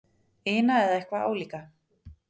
ina eða eitthvað álíka.